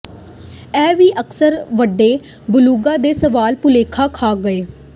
ਇਹ ਵੀ ਅਕਸਰ ਵੱਡੇ ਬਲੂਗਾ ਦੇ ਸਵਾਲ ਭੁਲੇਖਾ ਖਾ ਗਏ